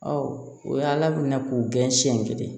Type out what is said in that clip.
o ye ala minɛ k'u gɛn siɲɛ kelen